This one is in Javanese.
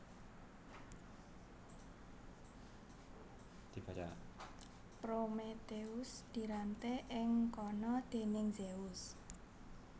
Prometheus diranté ing kana déning Zeus